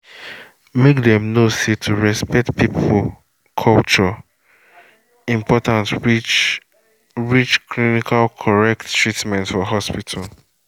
make dem know say to respect people culture important reach reach clinical correct treatment for hospital